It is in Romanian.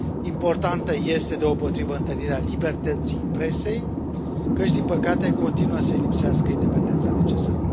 Importantă este, deopotrivă, întărirea libertății presei, căci, din păcate, continuă să îi lipsească independența necesară.